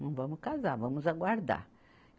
Não vamos casar, vamos aguardar.